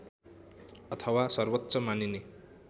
अथवा सर्वोच्च मानिने